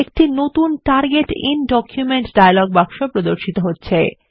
একটি নতুন টার্গেট আইএন ডকুমেন্ট ডায়লগ বাক্সে প্রদর্শিত হচ্ছে